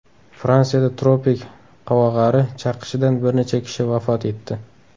Fransiyada tropik qovog‘ari chaqishidan bir necha kishi vafot etdi.